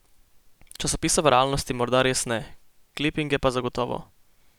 Časopisa v realnosti morda res ne, klipinge pa zagotovo.